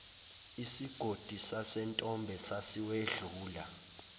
isigodi sasentombe sasiwedlula